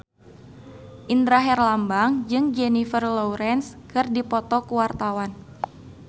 Indra Herlambang jeung Jennifer Lawrence keur dipoto ku wartawan